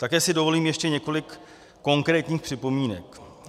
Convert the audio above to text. Také si dovolím ještě několik konkrétních připomínek.